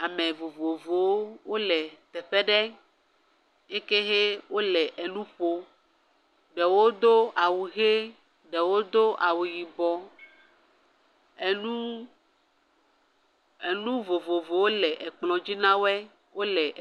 Ame vovovowo le teƒe aɖe yi ke hɛ wole nu ƒom. Ɖewo do awu ʋi ɖewo do awu yibɔ. Nu enu vovovowo le kplɔ̃ dzi na wo ye….